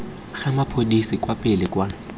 ga mapodisi kwa pele kwa